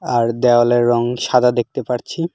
আর দেওয়ালের রং সাদা দেখতে পারছি।